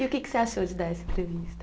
E o que que você achou de dar essa entrevista?